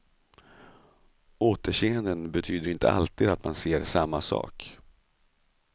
Återseenden betyder inte alltid att man ser samma sak.